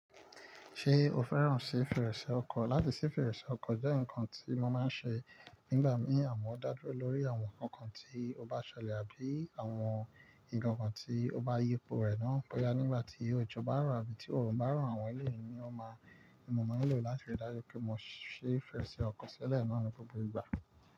Ṣé o fẹ́ràn sí fèrèsé ọkọ̀? Látì sí fèrèsé ọkọ̀ jẹ́ nǹkan tí mo máa ń ṣe nígbà mí àmo. Ó dá dúró lórí àwọn nǹkan tí ó bá ṣẹlẹ̀ àbí àwọn nǹkankan tí ó bá yípo rẹ̀ náà. Boya nígbà tí òjò bá rọ̀ àbí tí òòrùn bá rọ̀, àwọn eléèni ni ó máa ń mú, mo máa ń lò ó láti rí dájú pé mo si fèrèsé ọkọ̀ sílẹ̀ ní gbogbo ìgbà.